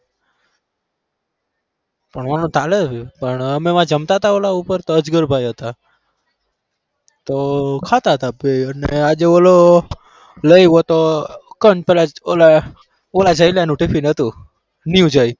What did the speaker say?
ભણવાનું ચાલે છે પણ અમે જમતા હતા ઓલા ઉપર તો અજગરભાઈ હતા તો ખાતા હતા તો આજે ઓલો ઓલા જયલા નું ટિફિન હતું. new જય